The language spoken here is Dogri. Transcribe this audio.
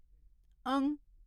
अं